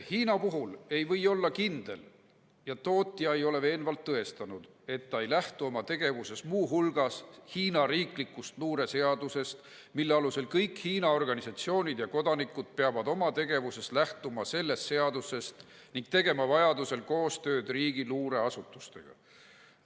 "Huawei puhul ei või olla kindel ja tootja ei ole veenvalt tõestanud, et ta ei lähtu oma tegevuses muu hulgas Hiina riiklikust luureseadusest , mille alusel "kõik Hiina organisatsioonid ja kodanikud peavad oma tegevuses lähtuma sellest seadusest ning tegema vajadusel koostööd riigi luureasutustega.